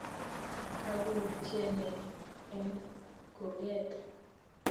Kagoutye ne eng kurget?